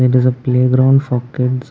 this is a playground for kids.